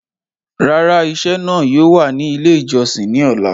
Rárà, ìṣẹ̀ náà yóò wà ní ilẹ̀ ìjọ̀ṣìn ni ọlá.